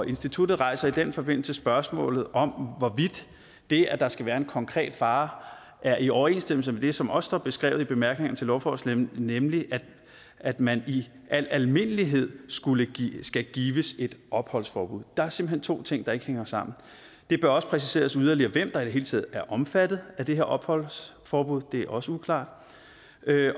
instituttet rejser i den forbindelse spørgsmålet om hvorvidt det at der skal være en konkret fare er i overensstemmelse med det som også står beskrevet i bemærkningerne til lovforslaget nemlig at man i al almindelighed skal gives et opholdsforbud der er simpelt hen to ting der ikke hænger sammen det bør også præciseres yderligere hvem der i det hele taget er omfattet af det her opholdsforbud det er også uklart